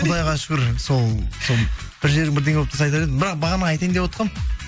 құдайға шүкір сол бір жерің бірдеме болып тұрса айтар едім бірақ бағана айтайын деп отқам